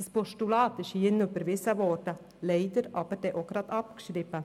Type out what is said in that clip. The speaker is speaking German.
Dieses Postulat wurde hier überwiesen, leider aber auch gleich abgeschrieben.